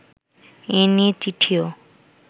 এ নিয়ে চিঠিও